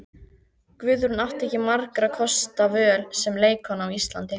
Guðrún átti ekki margra kosta völ sem leikkona á Íslandi.